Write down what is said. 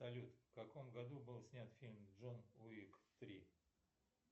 салют в каком году был снят фильм джон уик три